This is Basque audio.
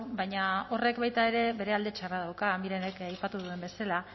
baina horrek baita ere bere alde txarra dauka mirenek aipatu duen bezala